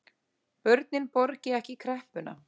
Börnin borgi ekki kreppuna